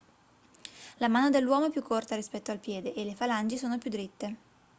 la mano dell'uomo è più corta rispetto al piede e le falangi sono più diritte